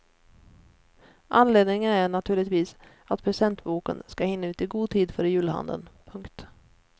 Anledningen är naturligtvis att presentboken ska hinna ut i god tid före julhandeln. punkt